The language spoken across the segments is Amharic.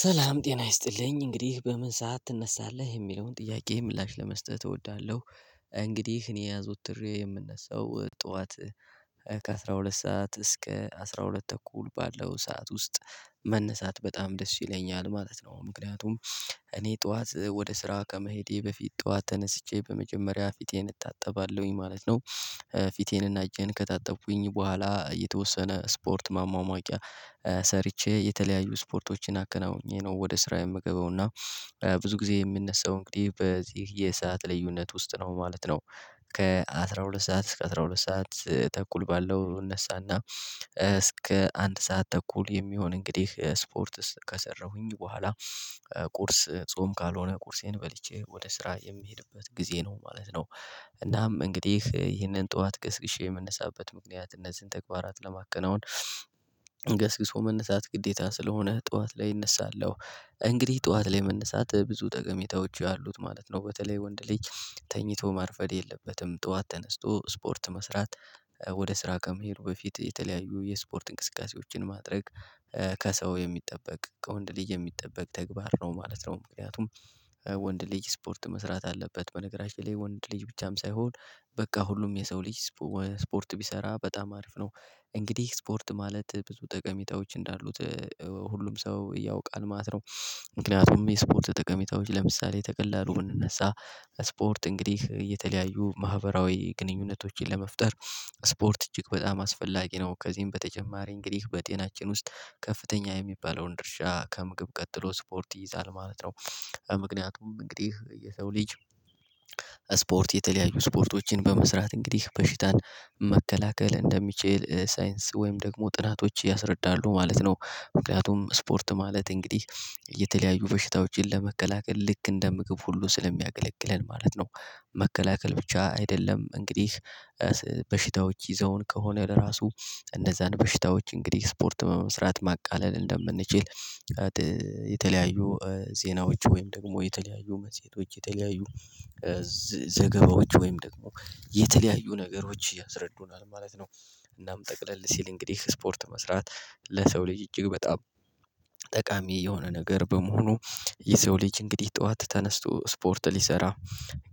ሰላም ጤና ይስጥልኝ እንግዲህ በምን ሰዓት ትነሳለህ? የሚለውን ጥያቄ ምላሽ ለመስጠት እወዳለሁ። እንግዲህ እኔ አዘውትሬ የምነሳው ጠዋት ከአሥራ ሁለት ሰዓት እስከ አስራ ሁለት ተኩል ባለው ሰዓት ውስጥ። መነሳት በጣም ደስ ይለኛል ማለት ነው። ምክንያቱም እኔ ጠዋት ወደ ስራው ከመሄዴ በፊት ጠዋት ተነስቼ በመጀመሪያ ፊቴን እታጠባለሁኝ ማለት ነው ፊቴንና እጄን ከታጠብኩኝ በኋላ የተወሰነ ስፖርት ማሟሟቂያ ሰርቼ የተለያዩ ስፖርቶችን አከናውኜ ነው ወደ ስራ የምገባው እና ብዙ ጊዜ የሚነሳው እንግዲህ በዚህ የሰዓት ልዩነት ውስጥ ነው ማለት ነው። ከአሥራ ሁለት ሰዓት እስከ አስራ ሁለት ሰዓት ተኩል ባለው እነሳና፤ እስከ አንድ ሰዓት ተኩል የሚሆን እንግዲህ ስፖርት ከሰራሁኝ በኋላ ቁርስ ጾም ካልሆነ ቁርሴን በልቼ ወደ ስራ የምሄድበት ጊዜ ነው ማለት ነው። እናም እንግዲህ ይህንን ጠዋት ቀስቅሼ የምንነሳበት ምክንያት እነዚህን ተግባራት ለማከናወን ገስግሶ መነሳት ግዴታ ስለሆነ ጠዋት ላይ እነሳለሁ። እንግዲህ ጠዋት ላይ መነሳት ብዙ ጠቀሜታዎች አሉት ማለት ነው። በተለይ ወንድ ልጅ ተኝቶ ማርፈድ የለበትም ጠዋት ተነስቶ ስፖርት መስራት ወደ ስራ ከመሄዱ በፊት የተለያዩ የስፖርት እንቅስቃሴዎችን ማድረግ፤ ከሰው የሚጠበቅ ከወንድ ልጅ የሚጠበቅ ተግባር ነው ማለት ነው። ምክንያቱም ወንድ ልጅ ስፖርት መስራት አለበት። በነገራችን ላይ ወንድ ልጅ ብቻም ሳይሆን በቃ ሁሉም የሰው ልጅ ስፖርት ቢሰራ በጣም አሪፍ ነው። እንግዲህ ስፖርት ማለት ብዙ ጠቀሜታዎች እንዳሉት ሁሉም ሰው እያውቃል ማለት ነው። እና ምክንያቱም የስፖርት ጠቀሜታዎች ለምሳሌ ተቀላሉ ብንነሳ ስፖርት እንግዲህ የተለያዩ ማህበራዊ ግንኙነቶችን ለመፍጠር ስፖርት እጅግ በጣም አስፈላጊ ነው። ከዚህም በተጀማረ እንግዲህ በጤናችን ውስጥ ከፍተኛ የሚባለውን ድርሻ ከምግብ ቀጥሎ ስፖርት ይይዛል ማለት ነው። ምክንያቱም እንግዲህ የሰው ልጅ ስፖርት የተለያዩ ስፖርቶችን በመስራት እንግዲህ በሽታን መከላከል እንደሚችል ሳይንስ ወይም ደግሞ ጥናቶች ያስረዳሉ ማለት ነው። ምክንያቱም ስፖርት ማለት እንግዲህ የተለያዩ በሽታዎችን ለመከላከል ልክ እንደ ምግብ ሁሉ ስለሚያገለግለን ማለት ነው። መከላከል ብቻ አይደለም እንግዲህ በሽታዎች ይዘውን ከሆነ ለራሱ እንደዛ በሽታዎች እንግዲህ ስፖርት መስራት ማቃለል እንደምንችል የተለያዩ ዜናዎች ወይም ደግሞ የተለያዩ መፅሄቶች የተለያዩ ዘገባዎች ወይም ደግሞ የተለያዩ ነገሮች ያስረዱናል ማለት ነው። እናም ጠቅለል ሲል እንግዲህ ስፖርት መስራት ለሰው ልጅ እጅግ በጣም ጠቃሚ የሆነ ነገር በመሆኑ የሰው ልጅ እንግዲህ ጠዋት ተነስቶ ስፖርት ሊሰራ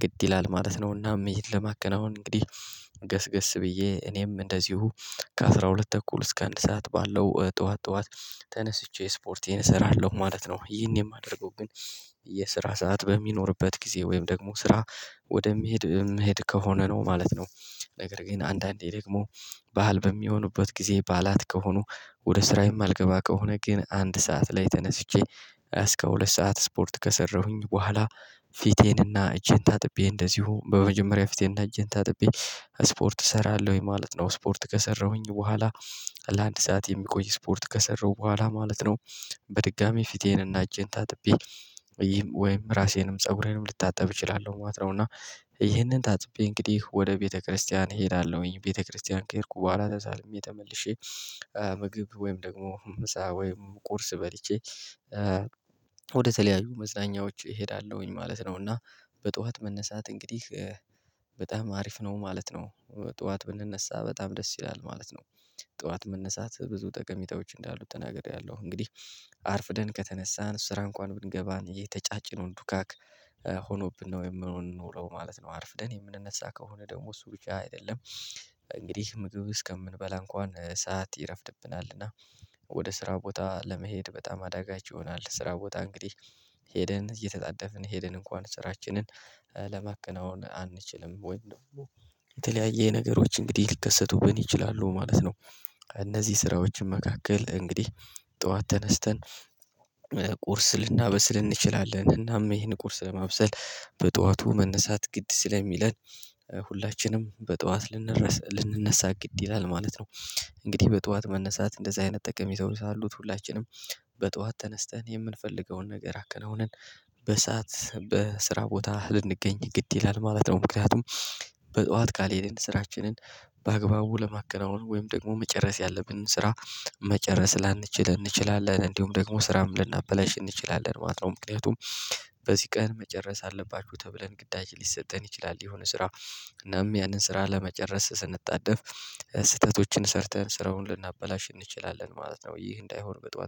ግድ ይላል ማለት ነውና ይሄን ለማከናወን እንግዲህ ገስገስ ብዬ እኔም እንደዚሁ ከአሥራ ሁለት ተኩል እስከ አንድ ሰዓት ባለው ጠዋት ጠዋት ተነስቼ ስፖርቴን እሰራለሁ ማለት ነው። ይሄን የማደርገው ግን የስራ ሰዓት በሚኖርበት ጊዜ ወይም ደግሞ ስራ ወደሚሄድ የምሄድ ከሆነ ነው ማለት ነው። ነገር ግን አንዳንዴ ደግሞ ባእል በሚሆኑበት ጊዜ ባላት ከሆኑ፤ ወደ ስራ የማልገባ ከሆነ ግን አንድ ሰዓት ላይ ተነስቼ እስከ ሁለት ሰዓት ስፖርት ከሰራሁኝ በኋላ ፊቴንና እጄን ታጥቤ እንደዚሁ በመጀመሪያ ፊቴና እጄን ታጥቤ ስፖርት እሰራለሁኝ ማለት ነው ስፖርት ከሰራሁኝ በኋላ ለአንድ ሰዓት የሚቆይ ስፖርት ከሰራው በኋላ ማለት ነው በድጋሚ ፊቴን እና እጄን ታጥቢ ወይም ራሴንም ፀጉሬንም ልታጠብ እችላለሁ ማለት ነው እና ይሄንን ታጥቤ እንግዲህ ወደ ቤተክርስቲያን እሄዳለሁኝ። ቤተክርስቲያን ከሄድኩ በኋላ ተሳልሜ ተመልሼ ምግብ ወይም ደግሞ ምሳ ወይም ቁርስ በልቼ ወደ ተለያዩ መዝናኛዎች እሄዳለሁኝ። ማለት ነው እና በጠዋት መነሳት እንግዲህ በጣም አሪፍ ነው ማለት ነው። ጠዋት ብንነሳ በጣም ደስ ይላል ማለት ነው ጠዋት መነሳት ብዙ ጠቀሚታዎች እንዳሉ ተናግሬያለሁ። እንግዲህ አርፍደን ከተነሳን ስራ እንኳን ብንገባን የተጫጭነውን ዱካክ ሆኖብን ነው የምንኖረው ማለት ነው። አርፍደን የምንነሳ ከሆነ ደግሞ እሱ ውጪ አይደለም እንግዲህ ምግብ እስከምንበላ እንኳን ሰዓት ይረፍድብናልና። ወደ ስራ ቦታ ለመሄድ በጣም አዳጋች ይሆናል። ስራ ቦታ እንግዲህ ሄደን እየተጣደፍን ሄደን እንኳን ስራችንን ለማከናወን አንችልም። ወይ ደግሞ የተለያየ ነገሮች እንግዲህ ሊከሰቱብን ይችላሉ ማለት ነው። እነዚህ ስራዎችን መካከል እንግዲህ ጠዋት ተነስተን ቁርስ ልናበስል እንችላለን። እናም ይሄን ቁርስ ለማብሰል በጠዋቱ መነሳት ግድ ሲል የሚለን ሁላችንም በጠዋት ልንነሳ ግድ ይላል ማለት ነው። እንግዲህ በጠዋት መነሳት እንደዚህ አይነት ጠቀሜታው ሰው አሉት። ሁላችንም በጠዋት ተነስተን የምንፈልገውን ነገር አከናውነን በሰአት በስራ ቦታ ልንገኝ ግድ ይላል ማለት ነው። ምክንያቱም በጧት ካልሄድን ስራችንን በአግባቡ ለማከናወን ወይም ደግሞ መጨረስ ያለብንን ስራ መጨረስ ላንችል እንችላለን፤ እንዲሁም ደግሞ ስራም ልናበላሽ እንችላለን ማለት ነው። ምክንያቱም በዚህ ቀን መጨረስ አለባችሁ ተብለን ግዳጅ ሊሰጠን ይችላል የሆነ ስራ እናም ያንን ስራ ለመጨረስ ስንጣደፍ ስህተቶችን ሰርተን ስራውን ልናበላሽ እንችላለን ማለት ነው ይህ እንዳይሆን በጧት